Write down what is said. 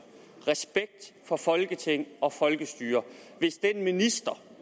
og respekt for folketing og folkestyre hvis den minister